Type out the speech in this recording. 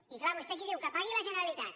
i clar vostè aquí diu que pagui la generalitat